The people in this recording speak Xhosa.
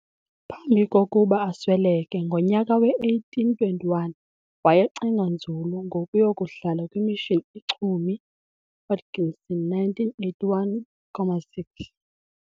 Phambi kokuba asweleke ngonyaka we-1821 wayecinga nzulu ngokuyokuhlala kwimissioni iChumie, Hodgson 1981,6.